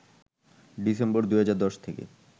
December ২০১০ থেকে